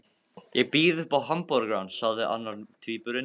Ég býð upp á hamborgara, sagði annar tvíburinn.